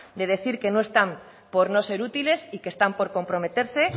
de decir que no están por no ser útiles y que están por comprometerse